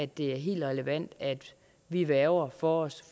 det er helt relevant at vi værger for os